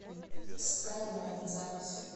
скайлайн запись